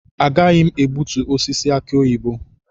Agaghị m egbutu osisi aki oyibo.